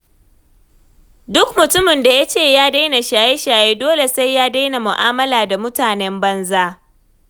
Duk mutumin da ya ce ya daina shaye-shaye, dole sai ya daina mu'amala da mutanen banza.